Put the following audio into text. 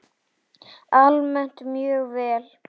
Almennt mjög vel.